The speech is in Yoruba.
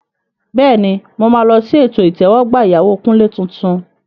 Bẹ́ẹ̀ni, mo máa lọ sí ètò ìtẹ́wọ́gbà ìyàwó Kunle tuntun.